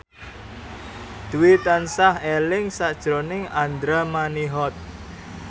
Dwi tansah eling sakjroning Andra Manihot